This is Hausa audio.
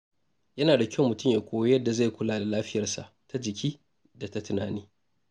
Yana da kyau mutum ya koyi yadda zai kula da lafiyarsa ta jiki da ta tunani.